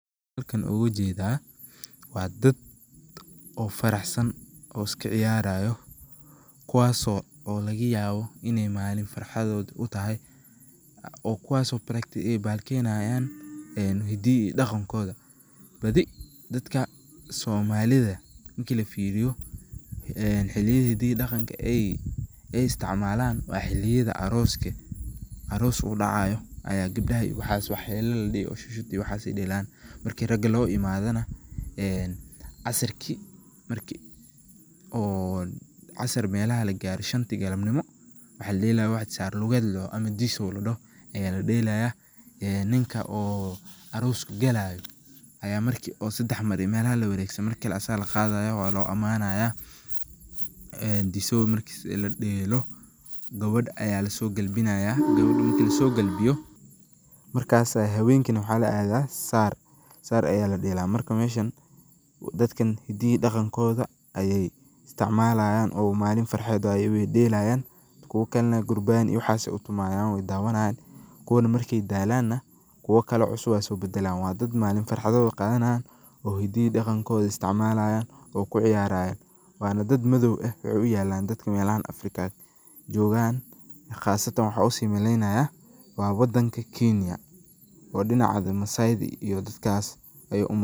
Halkan waxaa ooga jeeda waa dad oo faraxsan oo iska ciyaarayo kuwaas oo laga yaabo in malin farxadooda utoho, kuwaas oo bahal kiyeenayo hidaha iyo daqankooda, badi somalida marka lafiiriyo, xiliyaha hidaha iyo daqanka aay isticmaalan waa xiliyada arooska, aroos uu dacaayo, gabdaha waxaay deelan heela iyo shudshud, marki raga loo imaadana, casirki marki shanti galabnimo lagaaro waxaay delayaan wax saar lugeed ladoho, ninka arooska galaayo ayaa marki sadex mar lawareegsado marki kale asaga laqaadaya waa loo amaanaya, disoow marki ladeelo gabadha ayaa lasoo galbinaaya, gabadha marka lasoo galbiyo, markaas ayaa haweenki waxaa ladeela Saar, marka meeshan dadkan hidaha iyo daqankooda ayeey isticmaalayan oo malin farxad waye weey deelayan, kuwa kale durbaan iyo waxaas tumaayan waay fiirsanayan, kuwan markaay daalan kuwa cusub ayaa soo badalaayan, malin farxadooda ayeey qaadanayaan hidaha iyo daqankooda ayeey isticmaalayan oo kuciyaaran, waana dad madoow ah waxaay u egtahay dadka meelahan Africa joogan qaasatan waxaa usii maleeynaya waa wadanka Kenya oo dinaca masaayda.